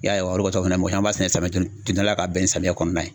I y'a ye wa, o de kosɔn fɛnɛ mɔgɔ caman b'a sɛnɛ samiya don dala ka bɛn ni samiya kɔnɔna ye.